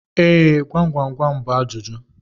Ee, gwam gwam bú ajụjụ